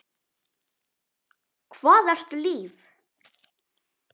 Hvað ertu líf?